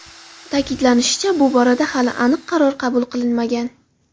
Ta’kidlanishicha, bu borada hali aniq qaror qabul qilinmagan.